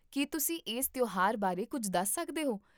ਕੀ ਤੁਸੀਂ ਇਸ ਤਿਉਹਾਰ ਬਾਰੇ ਕੁੱਝ ਦੱਸ ਸਕਦੇ ਹੋ?